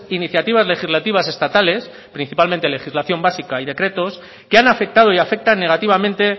iniciativas legislativas estatales principalmente legislación básica y decretos que han afectado y afectan negativamente